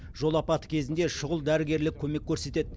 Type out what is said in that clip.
жол апаты кезінде шұғыл дәрігерлік көмек көрсетеді